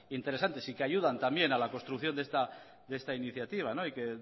interesantes y que ayudan también a la construcción de esta iniciativa y que